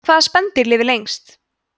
hvaða spendýr lifir lengst